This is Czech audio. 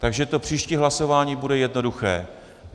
Takže to příští hlasování bude jednoduché.